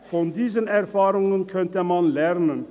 Von diesen Erfahrungen könnte man lernen.